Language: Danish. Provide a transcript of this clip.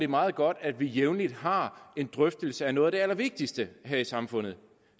meget godt at vi jævnligt har en drøftelse af noget af det allervigtigste her i samfundet